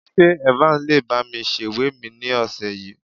Ṣé Evans lè bá mi sèwé mi ní ọ̀sẹ̀ yìí?